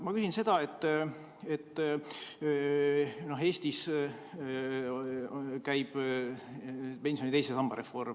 Ma küsin selle kohta, et Eestis käib pensioni teise samba reform.